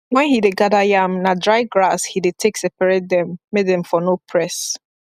wen he dey gather yam na dry grass he dey take separate them make them for no press